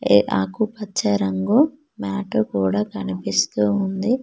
ఏ ఆకుపచ్చ రంగు మ్యాట్టు కూడా కనిపిస్తూ ఉంది.